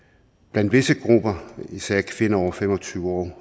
blandt visse grupper især kvinder over fem og tyve år